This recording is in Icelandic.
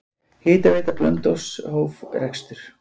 Hitaveita Blönduóss hóf rekstur.